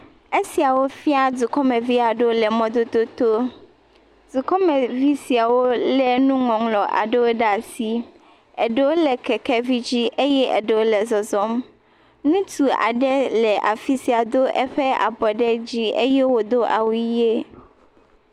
Esiawo fia dukɔmeviwo le mɔdodo tɔ. Dukɔmevi siawo le nuŋɔŋlɔ aɖe ɖe asi, eɖewo le keke vi dzi eye eɖewo le zɔzɔm. Ŋutsu aɖe le afisia Do aƒe abɔ ɖe dzi ye wodo awu ɣie.